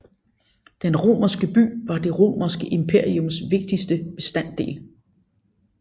Den romerske by var det Romerske imperiums vigtigste bestanddel